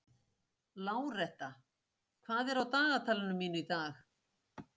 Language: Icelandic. Láretta, hvað er á dagatalinu mínu í dag?